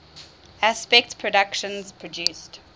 aspect productions produced